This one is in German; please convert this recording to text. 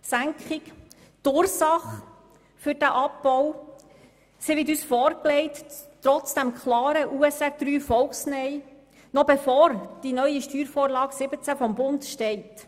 Das Geschäft wird uns trotz des klaren Volk-Neins vorgelegt, noch bevor die neue Steuervorlage des Bundes steht.